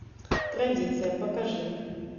традиция покажи